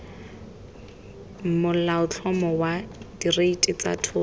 molaotlhomo wa direiti tsa thoto